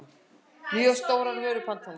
mjög stórar vörupantanir.